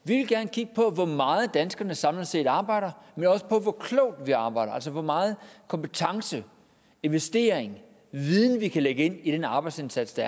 kigge på hvor meget danskerne samlet set arbejder men også på hvor klogt vi arbejder altså hvor meget kompetence investering viden vi kan lægge ind i arbejdsindsatsen